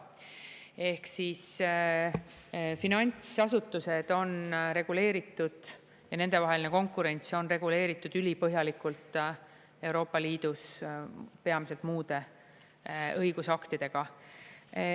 Ehk siis finantsasutused on reguleeritud ja nendevaheline konkurents on reguleeritud ülipõhjalikult Euroopa Liidus peamiselt muude õigusaktidega.